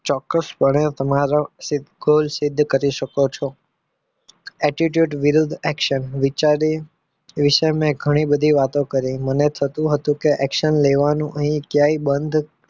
ચોક્કસપણે તમારો goal સિદ્ધ કરી શકો છો attitude વિરુદ્ધ action વિચારી વિશે મેં ઘણી બધી વાતો કરી મને થતું હતું કે action લેવાનું અહીં ક્યાંય બંધ